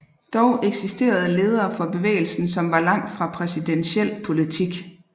Dog eksisterede ledere for bevægelsen som var langt fra præsidentiel politik